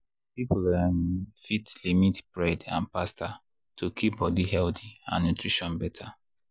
people um fit limit bread and pasta to keep body healthy and nutrition better.